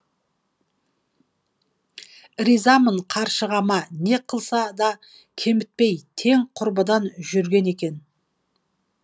ризамын қаршығама не қылса да кемітпей тең құрбыдан жүрген екен